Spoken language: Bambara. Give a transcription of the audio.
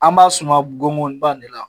An b'a suma gongonba de la